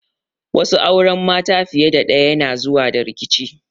Wasu auren mata fiye da ɗayan yana zuwa da rikici.